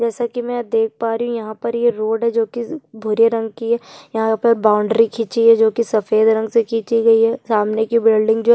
जैसा की मैं देख पा रही हूँ यहाँ पर ये रोड है जो की भूरे रंग की है यहाँ पर बॉउंड्री खींची है जो की सफ़ेद रंग से खींची गयी है सामने की बिल्डिंग जो --